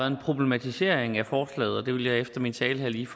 en problematisering af forslaget og det vil jeg efter min tale her lige